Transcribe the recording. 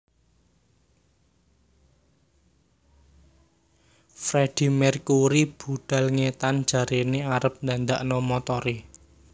Freddie Mercury budal ngetan jarene arep ndandakno montore